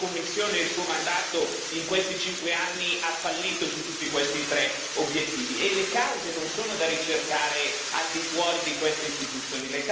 La Sua Commissione e il Suo mandato in questi cinque anni hanno fallito su tutti questi tre obiettivi e le cause non sono da ricercare al di fuori di queste istituzioni.